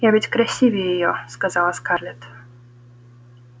я ведь красивее её сказала скарлетт